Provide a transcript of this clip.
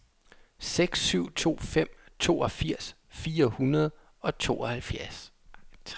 seks syv to fem toogfirs fire hundrede og tooghalvtreds